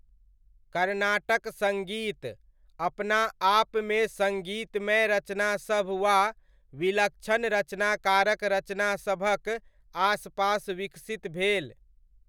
कर्नाटक सङ्गीत अपनाआपमे सङ्गीतमय रचनासभ वा विलक्षण रचनाकारक रचनासभक आस पास विकसित भेल।